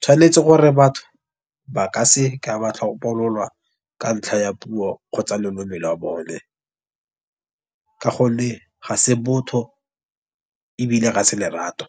tshwanetse gore batho ba ka se ka ba tlhopololwa ka ntlha ya puo kgotsa loleme lwa bone. Ka gonne ga se botho ebile ga se lerato.